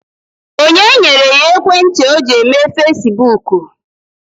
Onye nyere ya ekwentị o ji eme fasibuuku?